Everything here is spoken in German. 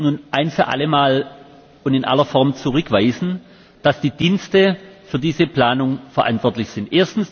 Aber ich möchte nun ein für alle Mal und in aller Form zurückweisen, dass die Dienste für diese Planung verantwortlich sind.